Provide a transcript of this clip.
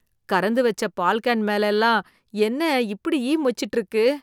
கறந்து வெச்ச பால் கேன் மேல எல்லாம் என்ன இப்படி ஈ மொச்சுட்டு இருக்கு?